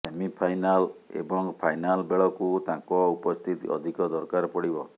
semifinal ଏବଂ final ବେଳକୁ ତାଙ୍କ ଉପସ୍ଥିତି ଅଧିକ ଦରକାର ପଡ଼ିବ